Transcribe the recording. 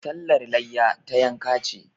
Sallar layya, ta yanka ce.